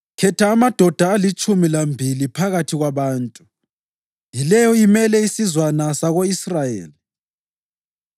“Khetha amadoda alitshumi lambili phakathi kwabantu, yileyo imele isizwana sako-Israyeli,